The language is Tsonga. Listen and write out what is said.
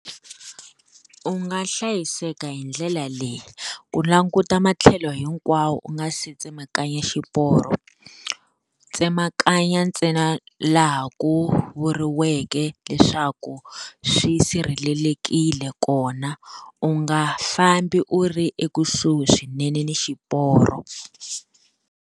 U nga hlayiseka hi ndlela leyi. Ku languta matlhelo hinkwawo u nga se tsemakanya xiporo, tsemakanya ntsena laha ku vuriweke leswaku swi sirhelelekile kona, u nga fambi u ri ekusuhi swinene ni xiporo.